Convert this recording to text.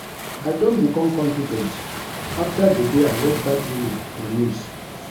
I don become confident after the day I watch dat woman for news